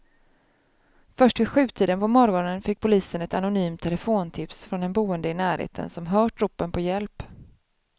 Först vid sjutiden på morgonen fick polisen ett anonymt telefontips från en boende i närheten som hört ropen på hjälp.